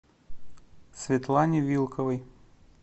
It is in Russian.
светлане вилковой